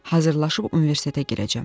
Hazırlaşıb universitetə girəcəm.